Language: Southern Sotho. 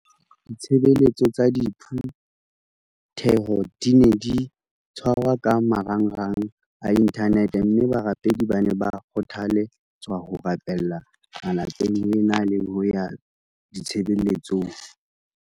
Ditshebeletso tsa diphu theho di ne di tshwarwa ka marangrang a inthanete mme barapedi ba ne ba kgothale tswa ho rapella malapeng ho e na le ho ya ditshebeletsong.